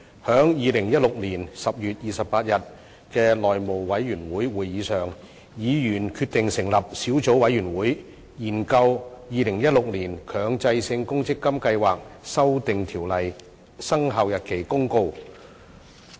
在2016年10月28日的內務委員會會議上，議員決定成立小組委員會，研究《〈2016年強制性公積金計劃條例〉公告》。